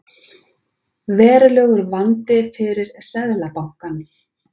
Verulegur vandi fyrir Seðlabankann